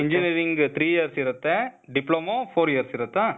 engineering three years ಇರತ್ತೆ, diploma four years ಇರತ್ತಾ?